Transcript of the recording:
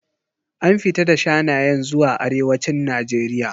An fita da shanayen zuwa arewacin Najeriya.